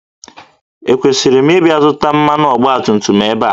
Ekwesịrị m ịbịa zụta mmanụ ọgbatumtum ebe a?